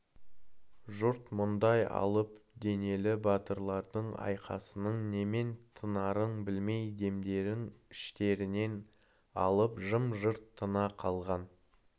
жұрт мұндай алып денелі батырлардың айқасының немен тынарын білмей демдерін іштерінен алып жым-жырт тына қалған